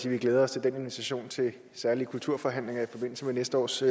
at vi glæder os til den invitation til særlige kulturforhandlinger i forbindelse med næste års